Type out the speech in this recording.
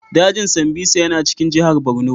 Dajin Sambisa yana cikin jihar Borno.